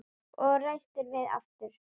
Og reistir við aftur.